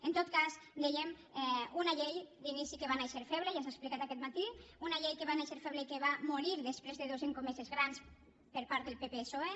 en tot cas dèiem una llei d’inici que va néixer feble ja s’ha explicat aquest matí una llei que va néixer feble i que va morir després de dos escomeses grans per part del pppsoe